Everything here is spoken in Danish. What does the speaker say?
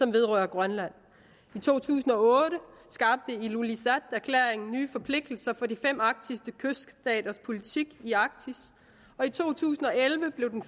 vedrører grønland i to tusind og otte skabte illulissaterklæringen nye forpligtelser for de fem arktiske kyststaters politik i arktis og i to tusind og elleve blev den